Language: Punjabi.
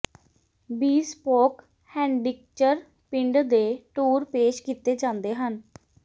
ਬੀਸਪੋਕ ਹੈਂਡਿਕਚਰ ਪਿੰਡ ਦੇ ਟੂਰ ਪੇਸ਼ ਕੀਤੇ ਜਾਂਦੇ ਹਨ